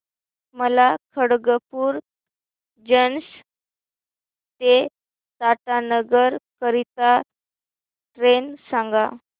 मला खडगपुर जंक्शन ते टाटानगर करीता ट्रेन सांगा